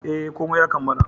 E, komai ya kammala.